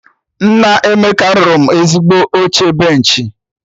Nna Emeka rụrụ mụ ezigbo oche benchị